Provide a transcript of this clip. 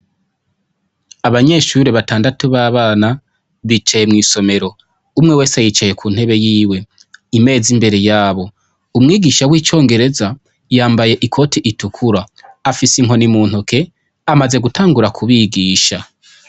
Abanyeshure batandatu babana bicaye mw' isomero umwe wese yicaye ku ntebe yiwe imeza imbere yabo umwigisha w' icongereza yambaye ikoti itukura afise inkoni mu ntoke amaze gutangura kubigisha.